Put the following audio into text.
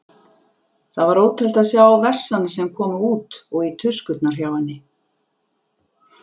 Það var ótrúlegt að sjá vessana sem komu út og í tuskurnar hjá henni.